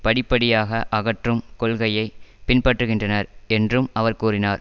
படிப்படியாக அகற்றும் கொள்கையை பின்பற்றுகின்றனர் என்றும் அவர் கூறினார்